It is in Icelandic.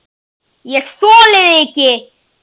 ÉG ÞOLI ÞIG EKKI!